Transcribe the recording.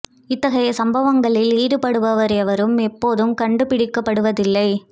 இத்தகைய சம்பவங்களில் ஈடுபடுபவர் எவரும் எப்போதும் கண்டு பிடிக்கப்படுவது இல்லை